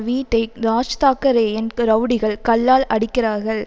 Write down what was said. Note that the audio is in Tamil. வீட்டை ராஜ்தாக்க ரேயின் ரவுடிகள் கல்லால் அடிக்கிறார்கள்